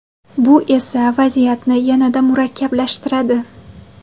Bu esa vaziyatni yanada murakkablashtiradi.